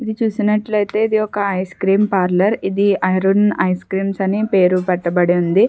ఇది చూసినట్లయితే ఇది ఒక ఐస్ క్రీం పార్లర్ ఇది అరుణ్ ఐస్క్రీమ్స్ అని పేరు పెట్టబడుంది.